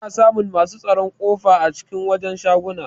Ana samun masu tsaron kofa a cikin wajen shaguna.